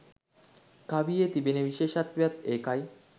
කවියේ තිබෙන විශේෂත්වයත් ඒකයි.